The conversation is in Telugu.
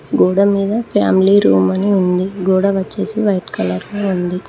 గోడమీద ఫ్యామిలీ రూమ్ అని ఉంది గోడ వచ్చేసి వైట్ కలర్లో ఉంది.